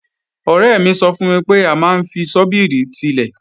Ọ̀rẹ́ mi sọ fún mi pé a máa ń fi ṣọ́bìrì tilẹ̀